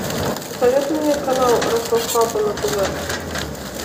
посоветуй мне канал ростов папа на тв